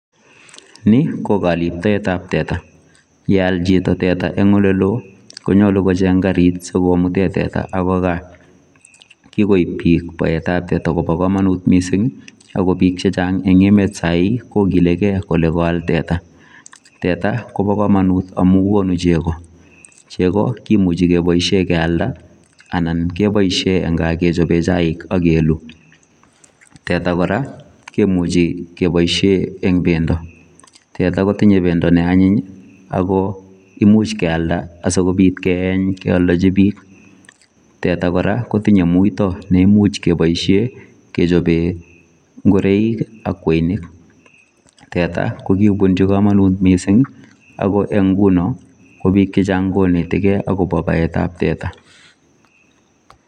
Ni ko kaliptaet ab teta ,ye yaal chitoo tetaa eng ole loo Konyaluu kocheeng kariit neitegei gaah kikoob biiik teta kobaa kamanuut missing ii ako biik che chaang eng emet kokilegei koyaal teta ,teta kobaa kamanuut amuun konuu chegoo, chegoo kimuchei kebaisheen keyaldaa anan kebaisheen eng kaah kechapeen chaik anan keluu ,teta kora kimuchei kebaisheen eng bendo ,teta kotinyei bendo ne anyiin ii ako imuuch keyalda sikobiit keeny keyaldejii biik kotinyei muitaa neimuuch kebaisheen kechapeen ngoraik ak kwenig ,teta ko kobunjii kamanuut missing ako eng ngunoo ko biik che chaang konetekei agobo baet ab teta.